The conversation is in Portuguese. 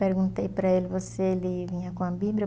Perguntei para ele, você le, vinha com a Bíblia.